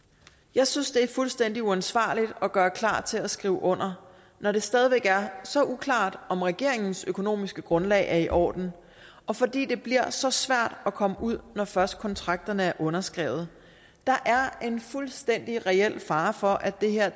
jeg synes det er fuldstændig uansvarligt at gøre klar til at skrive under når det stadig væk er så uklart om regeringens økonomiske grundlag er i orden og fordi det bliver så svært at komme ud når først kontrakterne er underskrevet der er en fuldstændig reel fare for at det her